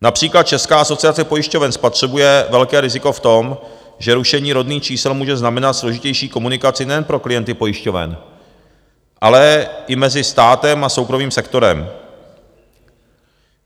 Například Česká asociace pojišťoven spatřuje velké riziko v tom, že rušení rodných čísel může znamenat složitější komunikaci nejen pro klienty pojišťoven, ale i mezi státem a soukromým sektorem.